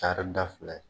Taari da fila ye